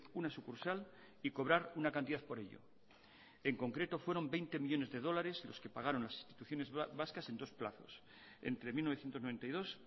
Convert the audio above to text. una sucursal y cobrar una cantidad por ello en concreto fueron veinte millónes de dólares los que pagaron las instituciones vascas en dos plazos entre mil novecientos noventa y dos